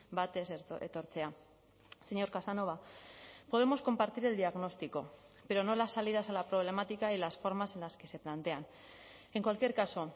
bat ez etortzea señor casanova podemos compartir el diagnóstico pero no las salidas a la problemática y las formas en las que se plantean en cualquier caso